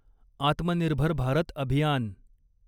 आत्मनिर्भर भारत अभियान